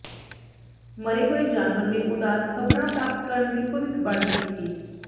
ਮਰੇ ਹੋਏ ਜਾਨਵਰ ਨੇ ਉਦਾਸ ਖ਼ਬਰਾਂ ਪ੍ਰਾਪਤ ਕਰਨ ਦੀ ਭਵਿੱਖਬਾਣੀ ਕੀਤੀ